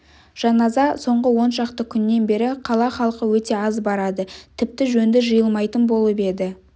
жаназа соңғы он шақты күннен бері қала халқы өте аз барады тіпті жөнді жиылмайтын болып еді